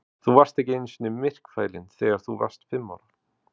Þú varst ekki einu sinni myrkfælinn þegar þú varst fimm ára?